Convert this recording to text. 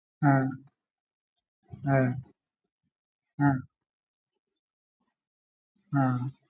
ആഹ് ആഹ് ആഹ് ആഹ്